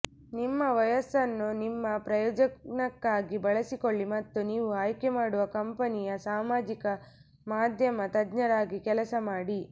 ನಿಮ್ಮ ವಯಸ್ಸನ್ನು ನಿಮ್ಮ ಪ್ರಯೋಜನಕ್ಕಾಗಿ ಬಳಸಿಕೊಳ್ಳಿ ಮತ್ತು ನೀವು ಆಯ್ಕೆಮಾಡುವ ಕಂಪನಿಯ ಸಾಮಾಜಿಕ ಮಾಧ್ಯಮ ತಜ್ಞರಾಗಿ ಕೆಲಸ ಮಾಡಿ